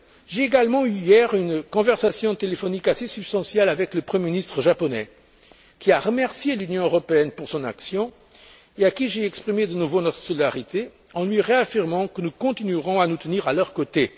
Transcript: J'ai également eu hier une conversation téléphonique assez substantielle avec le Premier ministre japonais, qui a remercié l'Union européenne pour son action et à qui j'ai exprimé de nouveau notre solidarité, en lui réaffirmant que nous continuerons à nous tenir à leurs côtés.